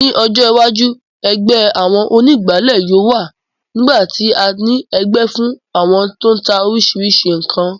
Ní ọjọ́ iwájú, ẹgbẹ́ àwọn onígbáàlẹ̀ yóò wà nígbà tí a ní ẹgbẹ́ fún àwọn tó n ta oríṣiríṣi ǹkan